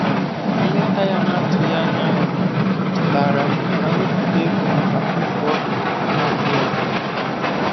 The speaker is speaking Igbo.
Nleta ya na-atụghị anya ya chetaara m ka m wepụta ego maka mmefu ọbịa na-atụghị anya ya.